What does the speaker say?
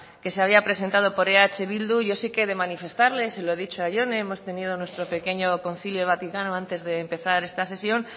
que se había presentado por eh bildu yo sí que he de manifestarle se lo he dicho a jone hemos tenido nuestro pequeño concilio vaticano antes de empezar esta sesión